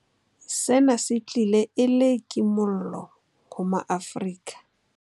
Sena se tlile e le kimollo ho ma-Afrika.